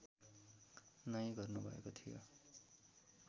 नै गर्नुभएको थियो